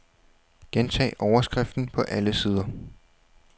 Gentag overskriften på alle sider.